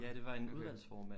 Ja det var en uddannelsesformand